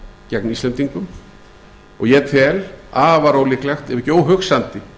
gegn íslendingum og ég tel afar ólíklegt ef ekki óhugsandi